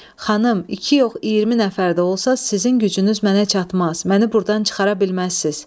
Xanım, iki yox 20 nəfər də olsa, sizin gücünüz mənə çatmaz, məni burdan çıxara bilməzsiz.